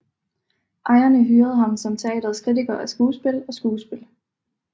Ejerne hyrede ham som teatrets kritiker af skuespil og skuespil